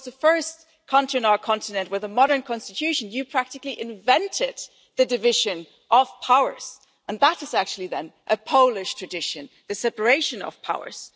Poland was the first country on our continent with a modern constitution. You practically invented the division of powers, and that is actually then a Polish tradition the separation of powers.